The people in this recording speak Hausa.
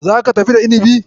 Zaka tafi da inibin?